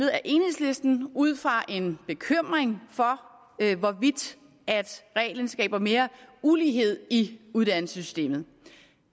af enhedslisten ud fra en bekymring for hvorvidt reglen skaber mere ulighed i uddannelsessystemet